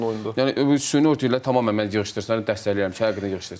Yəni süni örtüklər tamamilə mən yığışdırılsın dəstəkləyirəm ki, həqiqətən yığışdırılsın.